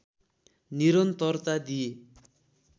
निरन्तरता दिए